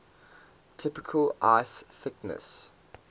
typical ice thickness